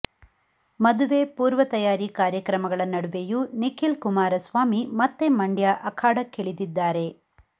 ಮದುವೆ ಪೂರ್ವ ತಯಾರಿ ಕಾರ್ಯಕ್ರಮಗಳ ನಡುವೆಯೂ ನಿಖಿಲ್ ಕುಮಾರಸ್ವಾಮಿ ಮತ್ತೆ ಮಂಡ್ಯ ಅಖಾಡಕ್ಕಿಳಿದಿದ್ದಾರೆ